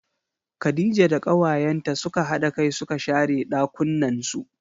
Khadija da kawayenta suka hada kai suka share ɗakunnan su.